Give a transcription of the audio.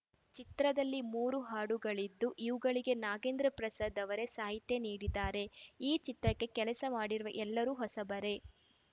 ಚಿತ್ರದಲ್ಲಿ ಮೂರು ಹಾಡುಗಳಿದ್ದು ಇವುಗಳಿಗೆ ನಾಗೇಂದ್ರ ಪ್ರಸಾದ್‌ ಅವರೇ ಸಾಹಿತ್ಯ ನೀಡಿದ್ದಾರೆ ಈ ಚಿತ್ರಕ್ಕೆ ಕೆಲಸ ಮಾಡಿರುವ ಎಲ್ಲರು ಹೊಸಬರೇ